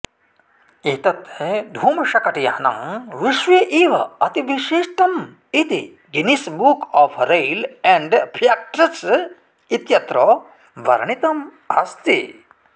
एतत् धूमशकटयानं विश्वे एव अतिविशिष्टमिति Guinness Book of Rail and Facts इत्यत्र वर्णितम् अस्ति